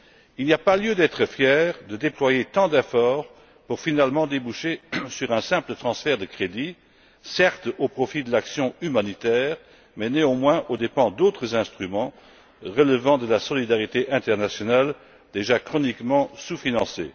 Il n'y a pas lieu d'être fier de déployer tant d'efforts pour finalement déboucher sur un simple transfert de crédits, certes au profit de l'action humanitaire, mais néanmoins aux dépens d'autres instruments relevant de la solidarité internationale déjà chroniquement sous financés.